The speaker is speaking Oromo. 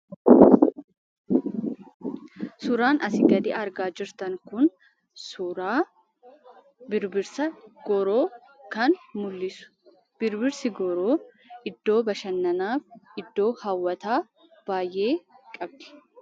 Suuraan asi gadi argaa jirtan kun, suuraa birbisa gooroo mul'isudha. Birbisi gooroo iddoo bashaannan iddoo hawwata baay'ee qabdi.